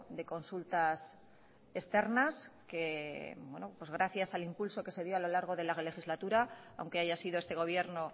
de consultas externas gracias al impulso que se dio a lo largo de la legislatura aunque haya sido este gobierno